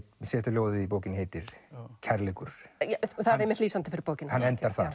ljóðin í bókinni heitir kærleikur það er einmitt lýsandi fyrir bókina hann endar þar